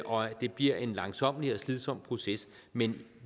og det bliver en langsommelig og slidsom proces men